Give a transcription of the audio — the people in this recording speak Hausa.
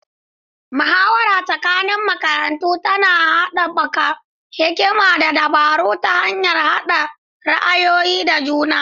Muhawarar tsakanin makarantu tana haɓaka hikima da dabaru ta hanyar haɗa ra'ayoyi da juna.